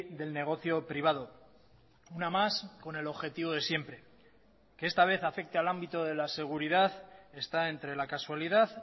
del negocio privado una más con el objetivo de siempre que esta vez afecte al ámbito de la seguridad está entre la casualidad